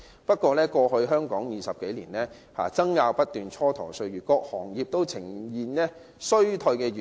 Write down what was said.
不過，香港在過去20多年爭拗不斷，蹉跎了不少歲月，以致各行各業均呈現衰退現象。